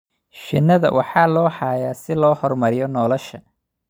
Shinnida waxaa loo hayaa si loo horumariyo nolosha